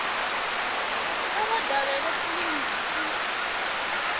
kha vha dalele kiliniki i